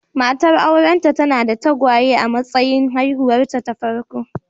Matar aurenta tana da tagwaye a matsayin haihuwarta ta farko.